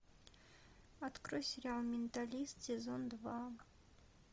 открой сериал менталист сезон два